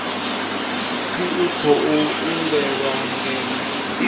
pfi u khou imbelwa ngeno